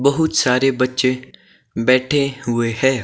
बहुत सारे बच्चे बैठे हुए हैं।